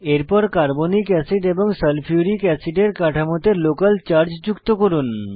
এরপর carbonic acid এবং sulphuric অ্যাসিডের কাঠামোতে লোকাল চার্জ যুক্ত করুন